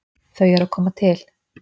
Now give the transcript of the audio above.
Þau eru að koma til.